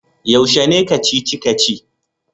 Yaushe ne Kacici-kaci?